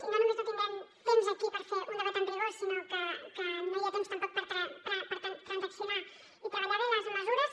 i no només no tindrem temps aquí per fer un debat amb rigor sinó que no hi ha temps tampoc per transaccionar i treballar des de les mesures